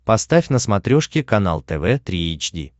поставь на смотрешке канал тв три эйч ди